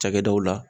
Cakɛdaw la